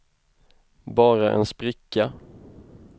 bara en spricka